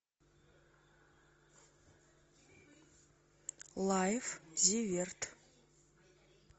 лайф зиверт